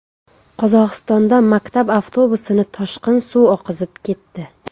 Qozog‘istonda maktab avtobusini toshqin suv oqizib ketdi .